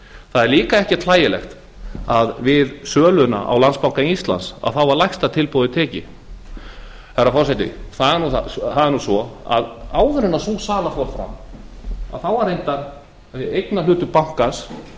það er líka ekkert hlægilegt að við söluna á landsbanka íslands var lægsta tilboði tekið herra forseti það er nú svo að áður en sú sala fór fram þá var reyndar eignarhlutur bankans